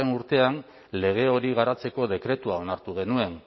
urtean lege hori garatzeko dekretua onartu genuen